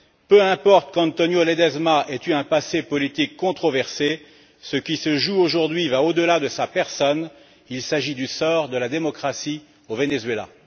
Peu importe qu'Antonio Ledezma ait eu un passé politique controversé, ce qui se joue aujourd'hui va au delà de sa personne il s'agit du sort de la démocratie au Venezuela.